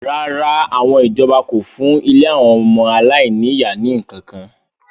rárá, àwọn ìjọba kò fún ilé àwọn ọmọ aláìní-ìyá ní ǹkan kan